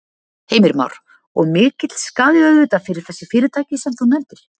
Heimir Már: Og mikill skaði auðvitað fyrir þessi fyrirtæki sem þú nefndir?